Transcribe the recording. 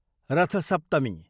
रथ सप्तमी